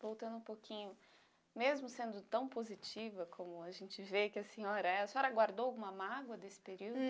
Voltando um pouquinho, mesmo sendo tão positiva como a gente vê que a senhora é, a senhora guardou alguma mágoa desse período?